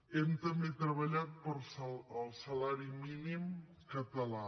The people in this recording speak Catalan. hem també treballat pel salari mínim català